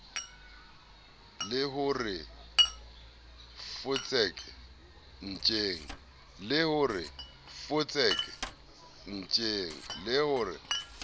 le ho re fotseke ntjeng